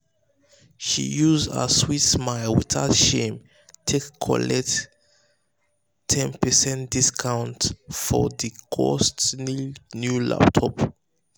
she use her sweet smile without shame um take collect ten percent discount um for the costly new laptop. um